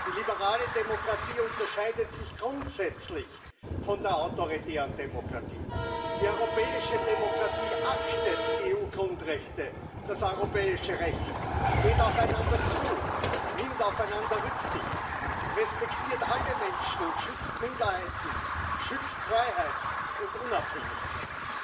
Die liberale Demokratie unterscheidet sich grundsätzlich von der autoritären Demokratie. Die europäische Demokratie achtet die EU Grundrechte, das europäische Recht, geht aufeinander zu, nimmt aufeinander Rücksicht, respektiert alle Menschen und schützt Minderheiten, schützt Freiheit und Unabhängigkeit.